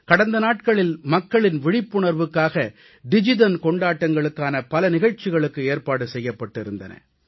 கடந்த நாட்களில் மக்களின் விழிப்புணர்வுக்காக டிஜிதன் கொண்டாட்டங்களுக்கான பல நிகழ்ச்சிகளுக்கு ஏற்பாடு செய்யப்பட்டிருந்தன